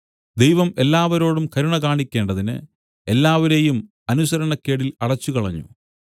ദൈവം എല്ലാവരോടും കരുണ കാണിക്കേണ്ടതിന് എല്ലാവരെയും അനുസരണക്കേടിൽ അടച്ചുകളഞ്ഞു